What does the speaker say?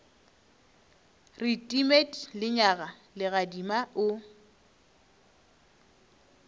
re timet lenyaga legadima o